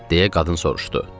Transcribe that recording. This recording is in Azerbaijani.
deyə qadın soruşdu.